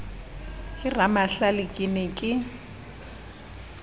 ke ramahlale ke ne ke